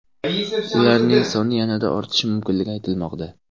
Ularning soni yanada ortishi mumkinligi aytilmoqda.